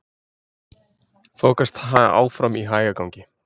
Þokast áfram í hægagangi